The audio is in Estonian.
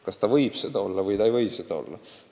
Kas ta võib seda olla või ta ei või seda olla?